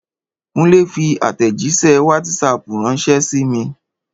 Kúnlé fi àtẹ̀jíṣẹ́ wátísapù ránṣẹ́ sí mi